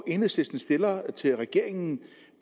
enhedslisten stiller til regeringen